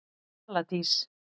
Vala Dís.